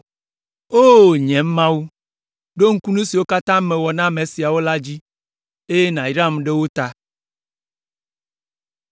O! Nye Mawu, ɖo ŋku nu siwo katã mewɔ na ame siawo la dzi, eye nàyram ɖe wo ta.